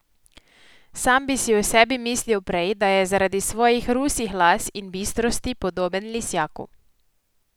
Sam bi si o sebi mislil prej, da je zaradi svojih rusih las in bistrosti podoben lisjaku.